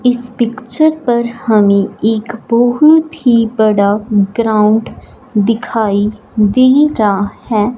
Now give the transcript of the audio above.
इस पिक्चर पर हमे एक बहुत ही बड़ा ग्राउंड दिखाई दे रहा है।